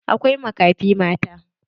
Akwai makafi mata.